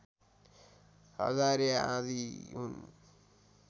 हजारे आँधी हुन्